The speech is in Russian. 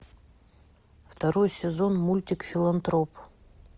второй сезон мультик филантроп